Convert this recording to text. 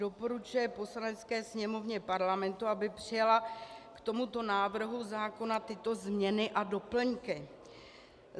Doporučuje Poslanecké sněmovně Parlamentu, aby přijala k tomuto návrhu zákona tyto změny a doplňky.